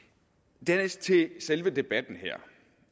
dernæst til selve debatten her